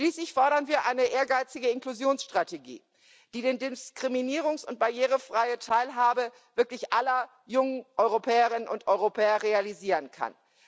Schließlich fordern wir eine ehrgeizige Inklusionsstrategie, die die diskriminierungs und barrierefreie Teilhabe wirklich aller jungen Europäerinnen und Europäer realisieren kann.